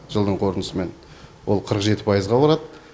жылдың қорытындысымен ол қырық жеті пайызға болады